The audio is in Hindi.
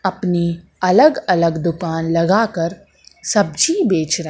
अपनी अलग अलग दुकान लगाकर सब्जी बेच र--